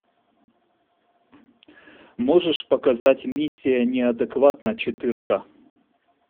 можешь показать миссия неадекватна четырка